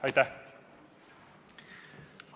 Aitäh!